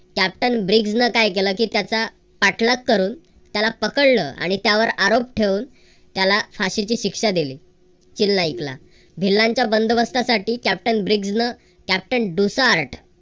Captain Briggs न काय केलं की त्याच्या पाठलाग करून त्याला पकडलं आणि त्यावर आरोप ठेवून त्याला फाशीची शिक्षा दिली. खिल नाईकला भिल्लांच्या बंदोबस्तासाठी कॅप्टन ब्रिग्ज न कॅप्टन डुस आर्ट